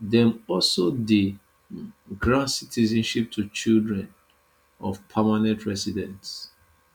dem also dey um grant citizenship to children of permanent residents